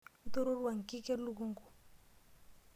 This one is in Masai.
Itororua nkik elukunku.